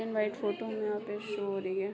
Black and white photo हमें यहाँ पे शो हो रही है।